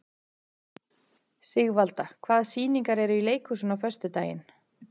Sigvalda, hvaða sýningar eru í leikhúsinu á föstudaginn?